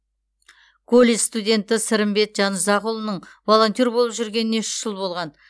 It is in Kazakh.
колледж студенті сырымбет жанұзақұлының волонтер болып жүргеніне үш жыл болған